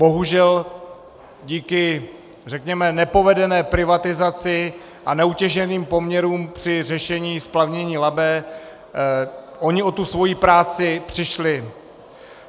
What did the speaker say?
Bohužel díky řekněme nepovedené privatizaci a neutěšeným poměrům při řešení splavnění Labe oni o tu svoji práci přišli.